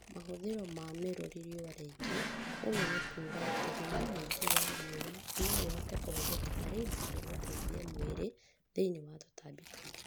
Mahũthĩro ma mĩrũri rĩũa rĩingĩ, ũguo nĩkuga atĩ hinya mũingĩ wa rĩũa noĩhote kũhũthĩka harĩ indo cia gũteithia mwĩrĩ thĩinĩ wa tũtambi tũingĩ